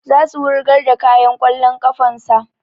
Za su wurgar da kayan ƙwallon ƙafan sa